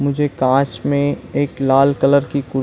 मुझे कांच में एक लाल कलर की कुर् --